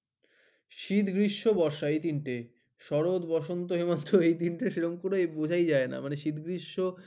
শীত গ্রীষ্ম বর্ষা এই তিন টে শরৎ বসন্ত হেমন্ত এই তিনটে সেরকম বুঝায় যায় না মানে শীত গ্রীষ্ম